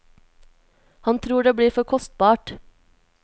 Han tror det blir for kostbart.